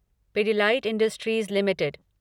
Pidilite Industries limited